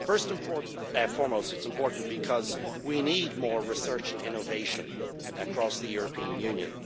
First and foremost, it is important because we need more research and innovation across the European Union.